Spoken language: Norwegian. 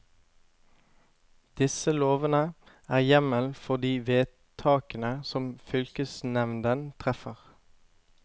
Disse lovene er hjemmel for de vedtakene som fylkesnevnden treffer.